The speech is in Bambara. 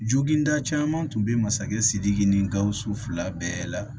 Joginda caman tun be masakɛ sidiki ni gawusu fila bɛɛ la